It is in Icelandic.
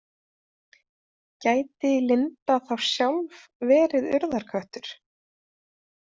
Gæti Linda þá sjálf verið Urðarköttur?